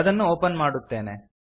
ಅದನ್ನು ಒಪನ್ ಮಾಡುತ್ತೇನೆ